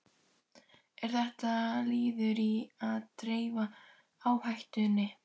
Er þetta liður í að dreifa áhættunni?